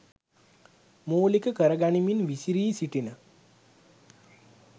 මූලික කරගනිමින් විසිරී සිටින